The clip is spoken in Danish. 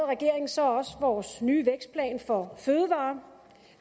regeringen så også sin nye vækstplan for fødevarer